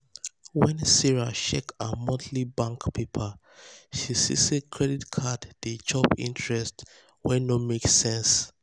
when sarah check her monthly bank paper she see say credit card dey chop um interest wey no make sense.